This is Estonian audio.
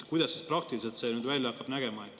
Kuidas see praktiliselt nüüd hakkab välja nägema?